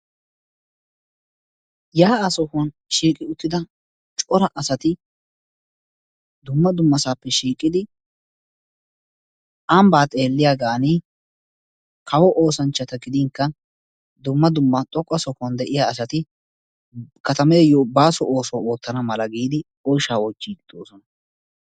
Yaa'a sohuwan shiiqi uttida cora asati dumma dummaasappe shiiqid ambba xeeliyaagan kawo oosanchchata gidinkka dumma dumma xoqqa sohuwan de'iya asati katameyyo baaso ooso ootana mala giidi oyshsha oychchidi de'oosona.